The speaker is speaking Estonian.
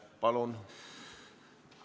Palun!